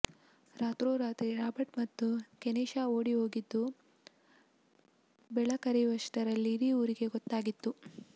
ರಾತ್ರೋರಾತ್ರಿ ರಾಬರ್ಟ್ ಮತ್ತು ಕೆನಿಶಾ ಓಡಿಹೋಗಿದ್ದು ಬೆಳಕರಿಯುವಷ್ಟರಲ್ಲಿ ಇಡೀ ಊರಿಗೆ ಗೊತ್ತಾಗಿತ್ತು